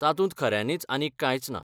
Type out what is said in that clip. तातूंत खऱ्यानीच आनीक कांयच ना.